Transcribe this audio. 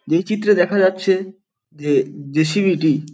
যেই চিত্রে দেখা যাচ্ছে যে জে.সি.বি. -টি --